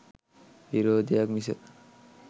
විරොදයක් මිස